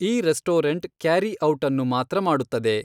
ಈ restaurant carry out ಅನ್ನು ಮಾತ್ರ ಮಾಡುತ್ತದೆ